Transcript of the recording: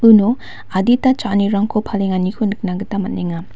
uno adita cha·anirangko palenganiko nikna gita man·enga.